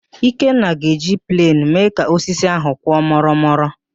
Ikenna ga-eji plenụ mee ka osisi ahụ kwọ mụrụ mụrụ